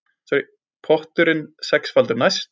Potturinn sexfaldur næst